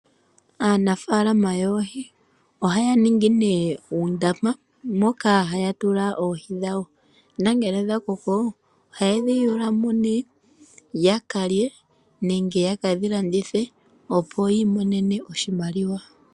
Aanafaalama yoohi ohaya ningi nee undama moka haya tula oohi dhawo, nongele dha koko, oha yedhi yulumo nee ya kalye nenge yekedhi landithe, opo yi imonene oshimaliwa.